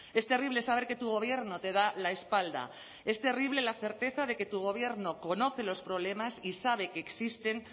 es terrible saber que tu gobierno te da la espalda es terrible la certeza de que tu gobierno conoce los problemas y sabe que existen